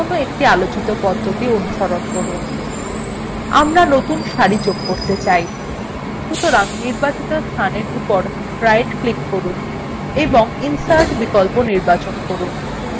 নতুন সারি বা কলাম যোগ করতে যেকোনো একটি আলোচিত পদ্ধতি অনুসরণ করুন আমরা নতুন সারি যোগ করতে চাই সুতরাং নির্বাচনএর উপর right ডান click করুন এবং insert বিকল্প নির্বাচন করুন